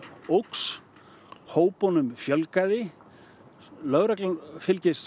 óx hópunum fjölgaði lögreglan fylgist